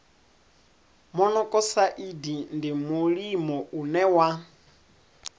monokosaidi ndi mulimo une wa